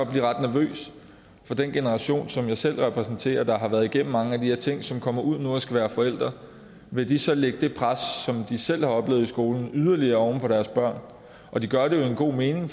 blive ret nervøs for den generation som jeg selv repræsenterer der har været igennem mange af de her ting og som kommer ud nu og skal være forældre vil de så lægge det pres som de selv har oplevet i skolen yderligere over på deres børn de gør det jo i en god mening